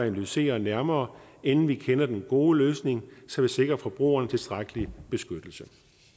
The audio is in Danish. analyseret nærmere inden vi kender den gode løsning så vi sikrer forbrugerne tilstrækkelig beskyttelse